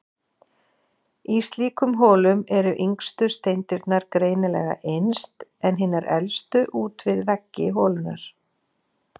Í slíkum holum eru yngstu steindirnar greinilega innst, en hinar elstu út við veggi holunnar.